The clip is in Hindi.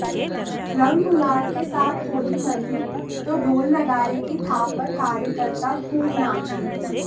रंग गुलाल के साथ होली मनी तो ढोल नगाड़े की थाप पर कार्यकर्ता खूब नाचे